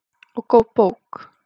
Og góð bók.